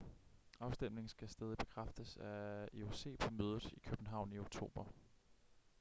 afstemningen skal stadig bekræftes af ioc på mødet i københavn i oktober